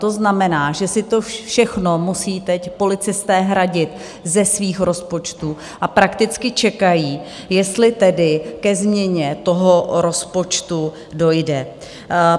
To znamená, že si to všechno musí teď policisté hradit ze svých rozpočtů a prakticky čekají, jestli tedy ke změně toho rozpočtu dojde.